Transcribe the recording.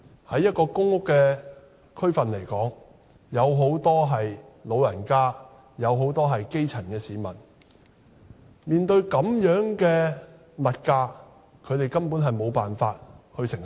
在一個公屋的地區，有很多長者和基層市民，這樣的物價，他們根本無法承受。